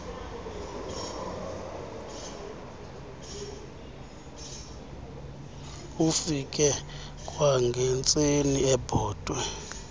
afike kwangentseni ebhotwe